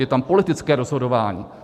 Je tam politické rozhodování.